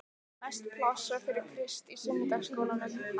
Mest pláss var fyrir Krist í sunnudagaskólanum.